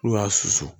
N'u y'a susu